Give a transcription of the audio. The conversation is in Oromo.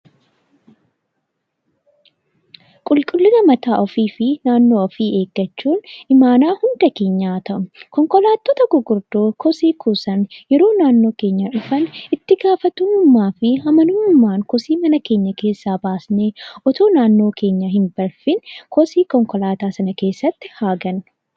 Qulqullina mataa ofii fi naannoo ofii eeggachuun imaanaa hunda keenyaa haa ta'u. Konkolaattota gurguddoo kosii kuusan yeroo naannoo keenya dhufan itti gaafatamummaa fi amanamummaan kosii mana keenya keessaa baasnee otoo naannoo keenya hin balfiin kosii konkolaataa sana keessatti haa gatnu.